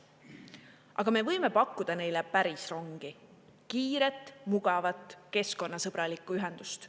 Aga me võime pakkuda neile päris rongi, kiiret, mugavat, keskkonnasõbralikku ühendust.